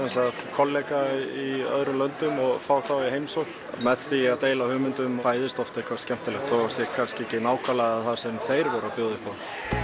kollega í öðrum löndum og fá þá í heimsókn með því að deila hugmyndum fæðist oft eitthvað skemmtilegt þótt það sé kannski ekki nákvæmlega það sem þeir buðu upp á